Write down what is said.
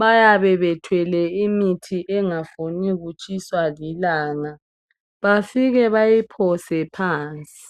bayabe bethwele imithi engafuni kutshiswa lilanga bafike bayiphose phansi.